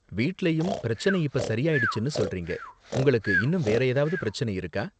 வீட்லயும் பிரச்சனை இப்ப சரி ஆயிடுச்சுனு சொல்றீங்க. உங்களுக்கு இன்னும் வேற ஏதாவது பிரச்சனை இருக்கா?